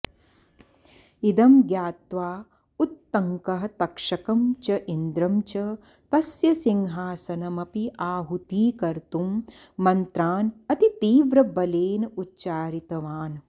इदं ज्ञात्वा उत्तङ्कः तक्षकं च इन्द्रं च तस्य सिंहासनमपि आहुतीकर्तुं मन्त्रान् अति तीव्रबलेन उच्चारितवान्